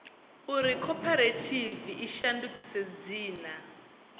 uri khophorethivi i shandukise dzina